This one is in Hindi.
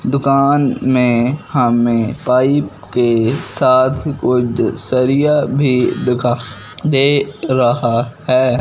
दुकान में हमें पाइप के साथ कोई सरिया भी दिखा दे रहा है।